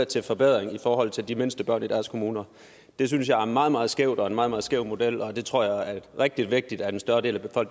til forbedring i forhold til de mindste børn i deres kommuner det synes jeg er meget meget skævt og en meget meget skæv model og det tror jeg er rigtig vigtigt at en større del af